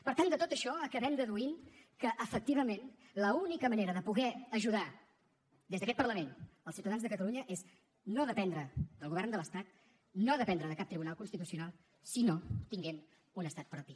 per tant de tot això acabem deduint que efectivament l’única manera de poder ajudar des d’aquest parlament els ciutadans de catalunya és no dependre del govern de l’estat no dependre de cap tribunal constitucional sinó tenint un estat propi